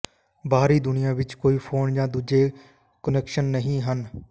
ਬਾਹਰੀ ਦੁਨੀਆਂ ਵਿਚ ਕੋਈ ਫੋਨ ਜਾਂ ਦੂਜੇ ਕੁਨੈਕਸ਼ਨ ਨਹੀਂ ਹਨ